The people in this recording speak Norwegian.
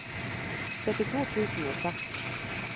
syttito tusen og seks